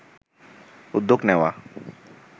উদ্যোগ নেওয়া